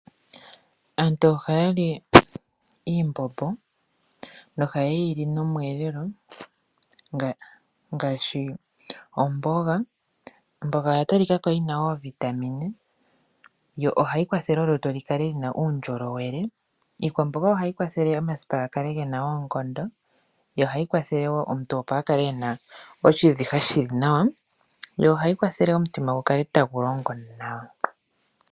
Aantu ohaya li iimbombo nohaye yi li nomweelelo, ngaashi omboga. Omboga oya talikako yina oo vitamin, yo ohayi kwathele olutu lukale luna uundjolowele. Iikwamboga ohayi kwathele, omasipa ga kale gena oonkondo, yo ohayi kwathele woo omuntu opo akale ena oshiviha shili nawa, yo ohayi kwathele opo omutima gu kale tagu longo nawa.